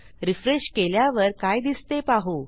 refresh केल्यावर काय दिसते पाहू